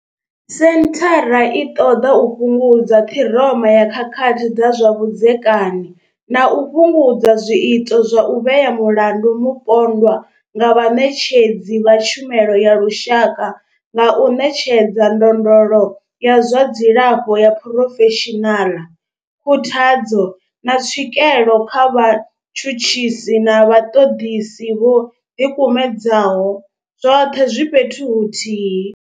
Senthara i ṱoḓa u fhungudza ṱhiroma ya khakhathi dza zwa vhudzekani na u fhungudza zwiito zwa u vhea mulandu mupondwa nga vhaṋetshedzi vha tshumelo ya lushaka nga u ṋetshedza ndondolo ya zwa dzilafho ya phurofeshinala, khuthadzo, na tswikelo kha vhatshutshisi na vhaṱoḓisi vho ḓikumedzaho, zwoṱhe zwi fhethu huthihi.